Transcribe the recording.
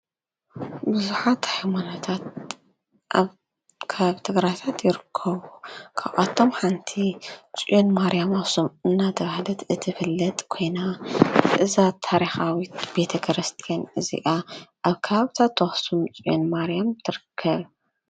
ብዙኃት ሕሞነታት ኣብካብ ተግራታት ይርኮቡ ካብኣቶም ሓንቲ ጽኦን ማርያም ኣሱም እናተብህደት እቲ ፍለጥ ኮይና እዛት ታሪኻዊት ቤተ ከረስትን እዚኣ ኣብ ካሃብታተሕስም ጽኦን ማርያም ድርከ።